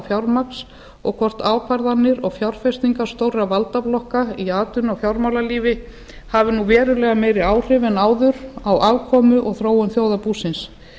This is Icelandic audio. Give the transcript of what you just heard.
fjármagns og hvort ákvarðanir og fjárfestingar stórra valdablokka í atvinnu og fjármálalífi hafi nú verulega meiri áhrif en áður á afkomu og þróun þjóðarbúsins